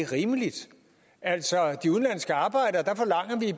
rimeligt altså